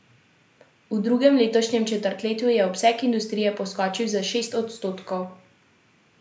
V drugem letošnjem četrtletju je obseg industrije poskočil za šest odstotkov.